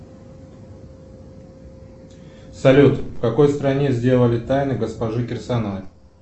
салют в какой стране сделали тайны госпожи кирсановой